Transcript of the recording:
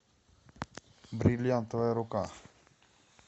бриллиантовая рука